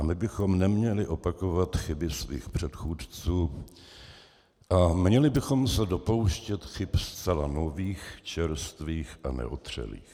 A my bychom neměli opakovat chyby svých předchůdců a měli bychom se dopouštět chyb zcela nových, čerstvých a neotřelých.